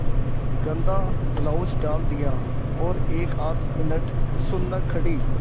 गंदा ब्लाउज डाल दिया और एकआध मिनट सुन्न खड़ी